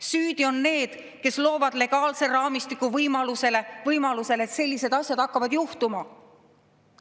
Süüdi on need, kes loovad legaalse raamistiku võimalusele, et sellised asjad hakkavad juhtuma.